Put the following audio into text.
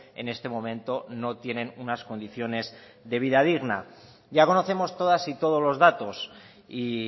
en este momento no tienen unas condiciones de vida digna ya conocemos todas y todos los datos y